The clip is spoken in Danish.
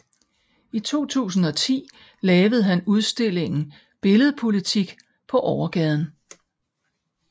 I 2010 lavede han udstillingen Billed Politik på Overgaden